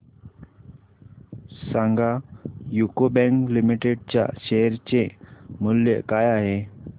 सांगा UCO bank limited च्या share चे मूल्य काय आहे